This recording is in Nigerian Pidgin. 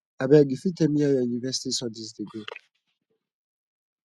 abeg you fit tell me how your university studies dey go